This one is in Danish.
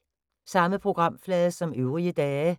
Samme programflade som øvrige dage